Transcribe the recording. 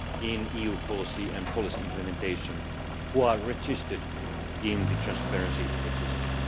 in EU policy and policy implementation who are registered in the transparency register.